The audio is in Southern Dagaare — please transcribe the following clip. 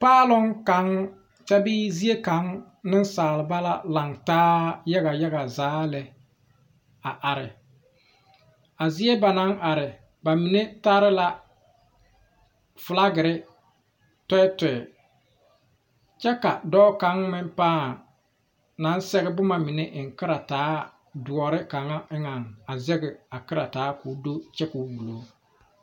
Paaloŋ kaŋa kyɛ bee zie kaŋa nensaalba ba la laŋ taa yaga yaga zaa lɛ a are, a zie ba naŋ are ba mine tara la fiilakere tɛɛtɛɛ kyɛ ka dɔɔ kaŋa mine paa naŋ sɛge boma mine eŋ kaaretaa dɔre kaŋa eŋa a zage a kaare taa ko'o do kyɛ ko buli.